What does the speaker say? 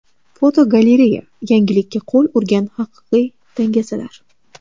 Fotogalereya: Yangilikka qo‘l urgan haqiqiy dangasalar.